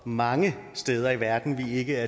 mange steder i verden vi ikke er